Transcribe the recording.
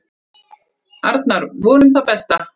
Arnar: Vonum það besta.